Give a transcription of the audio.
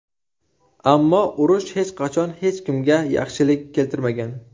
Ammo urush hech qachon hech kimga yaxshilik keltirmagan”.